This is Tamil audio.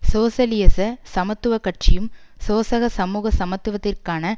சோசியலிச சமத்துவ கட்சியும் சோசக சமூக சமத்துவத்திற்கான